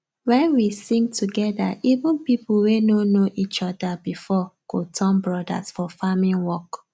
wen we sing together even people wey no know each other before go turn brothers for farming work